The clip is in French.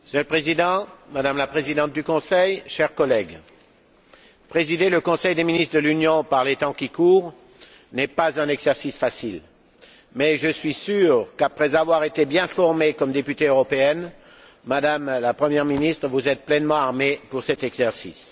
Monsieur le Président, Madame la Présidente du Conseil, chers collègues, présider le Conseil des ministres de l'Union par les temps qui courent n'est pas un exercice facile, mais je suis sûr qu'après avoir été bien formée comme députée européenne, Madame la Première ministre, vous êtes pleinement armée pour cet exercice.